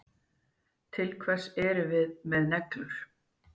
Til hvers erum við með neglur?